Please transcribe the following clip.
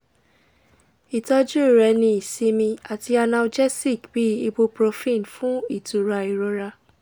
itọju re ni isinmi ati analgesic bi ibuprofen fun itura irora